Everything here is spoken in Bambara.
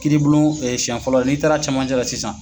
Kiiri bulon siyɛn fɔlɔ n'i taara cɛmancɛ la sisan